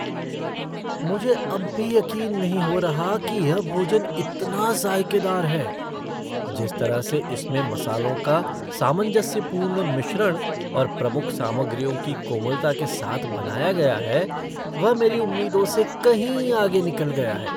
मुझे अब भी यक़ीन नहीं हो रहा की यह भोजन इतना ज़ायकेदार है, जिस तरह से इसमें मसालों का सामंजस्यपूर्ण मिश्रण और प्रमुख सामग्रियों की कोमलता के साथ बनाया गया है, वह मेरी उम्मीदों से कहीं आगे निकल गया है।